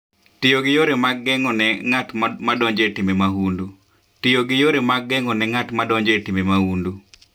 Tiyo gi yore mag geng'o ne ng'at madonjo e timbe mahundu: Tiyo gi yore mag geng'o ne ng'at madonjo e timbe mahundu.